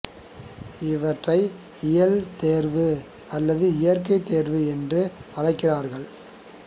இவற்றை இயல் தேர்வு அல்லது இயற்கைத் தேர்வு என்று அழைக்கிறார்கள்